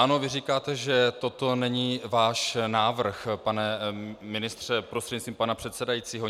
Ano, vy říkáte, že toto není váš návrh, pane ministře prostřednictvím pana předsedajícího.